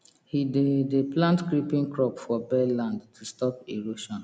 he dey dey plant creeping crop for bare land to stop erosion